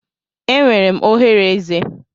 Enwere m oghere eze.